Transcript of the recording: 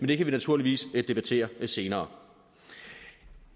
det kan vi naturligvis debattere senere